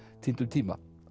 týndum tíma